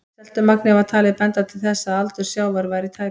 Seltumagnið var talið benda til þess að aldur sjávar væri tæpar